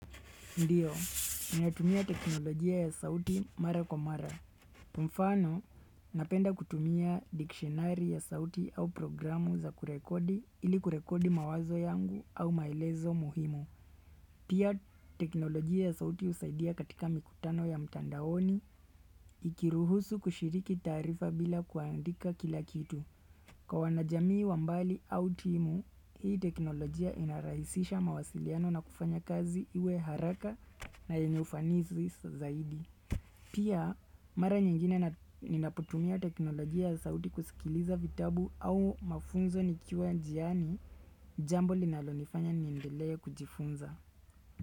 Ndiyo, ninatumia teknolojia ya sauti mara kwa mara. Kwa mfano, napenda kutumia dikshonari ya sauti au programu za kurekodi ili kurekodi mawazo yangu au maelezo muhimu. Pia, teknolojia ya sauti usaidia katika mikutano ya mtandaoni ikiruhusu kushiriki taarifa bila kuandika kila kitu. Kwa wanajamii wa mbali au timu, hii teknolojia inarahisisha mawasiliano na kufanya kazi iwe haraka na yenye ufanizi zaidi. Pia, mara nyingine ninapotumia teknolojia ya sauti kusikiliza vitabu au mafunzo nikiwa njiani jambo linalonifanya niendelee kujifunza.